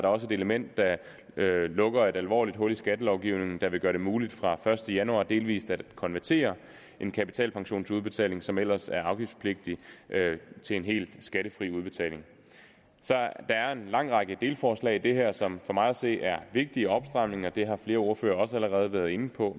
også et element der lukker et alvorligt hul i skattelovgivningen der vil gøre det muligt fra første januar delvist at konvertere en kapitalpension til udbetaling som ellers er afgiftspligtig til en helt skattefri udbetaling så der er en lang række delforslag i det her som for mig at se er vigtige opstramninger det har flere ordførere også allerede været inde på